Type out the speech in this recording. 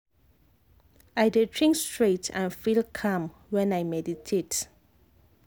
i dey think straight and feel calm when i meditate.